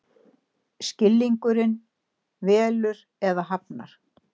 Skilningurinn velur eða hafnar.